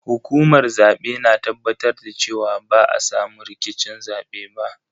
Hukumar zabe na tabbatar da cewa ba a samu rikicin zabe ba.